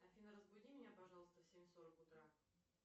афина разбуди меня пожалуйста в семь сорок утра